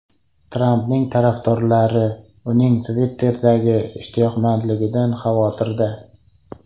Trampning tarafdorlari uning Twitter’ga ishtiyoqmandligidan xavotirda.